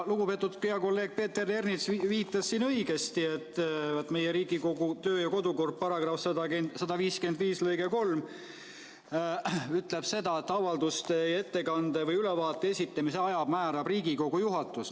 " Lugupeetud kolleeg Peeter Ernits viitas siin õigesti, et Riigikogu kodu- ja töökorra seaduse § 155 lõige 3 ütleb: "Avalduse, ettekande või ülevaate esitamise aja määrab Riigikogu juhatus.